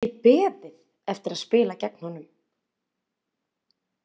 Ég gat ekki beðið eftir að spila gegn honum.